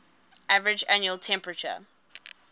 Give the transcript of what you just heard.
average annual temperature